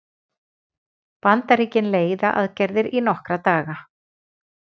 Bandaríkin leiða aðgerðir í nokkra daga